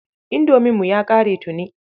Indominmu ya ƙare tuni.